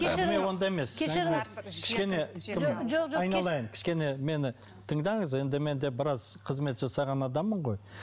кешіріңіз онда емес кешіріңіз кішкене кім айналайын кішкене мені тыңданыз енді мен де біраз қызмет жасаған адаммын ғой